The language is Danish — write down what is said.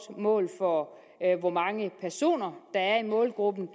mål for hvor mange personer der er i målgruppen